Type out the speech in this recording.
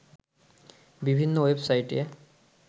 বিভিন্ন ওয়েবসাইটে